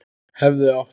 Hefði átt